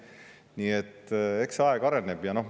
Nii et eks see kogu aeg areneb.